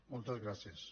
moltes gràcies